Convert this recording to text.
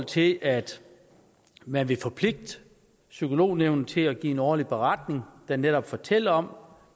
til at man vil forpligte psykolognævnet til at give en årlig beretning der netop fortæller om